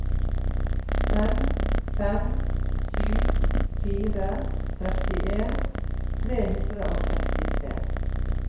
fem fem sju fire trettien tre hundre og sekstitre